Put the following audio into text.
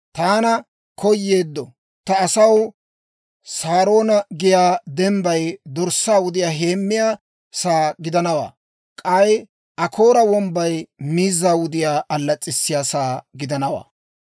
Taanna koyeeddo ta asaw Saaroona giyaa dembbay dorssaa wudiyaa heemmiyaa sa'aa gidanawaa; k'ay Akoora wombbay miizzaa wudiyaa allas's'issiyaa sa'aa gidanawaa.